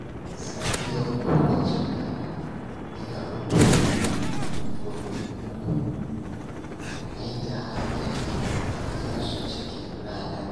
Safiyar kowacce rana, ina rubuta manufofi uku don maida hankali a kansu cikin ranar.